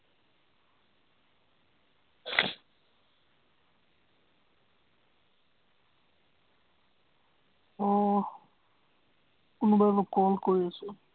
আহ কোনোবাই মোক call কৰি আছে।